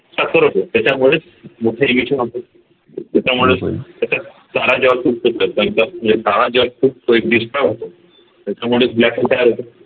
सकर होतो त्याच्यामुळेच मोठ होत त्याच्यात तारा जेव्हा तुटतो त्या म्हणजे तारा जेव्हा तो destroy होतो त्याच्यामुळे black hole तयार होतो